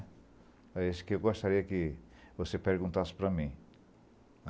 É isso que eu gostaria que você perguntasse para mim.